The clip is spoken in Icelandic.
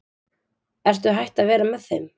Ertu hætt að vera með þeim?